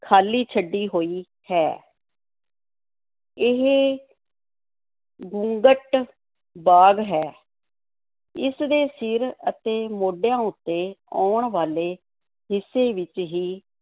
ਖ਼ਾਲੀ ਛੱਡੀ ਹੋਈ ਹੈ ਇਹ ਘੁੰਗਟ-ਬਾਗ਼ ਹੈ ਇਸ ਦੇ ਸਿਰ ਅਤੇ ਮੋਢਿਆਂ ਉੱਤੇ ਆਉਣ ਵਾਲੇ ਹਿੱਸੇ ਵਿੱਚ ਹੀ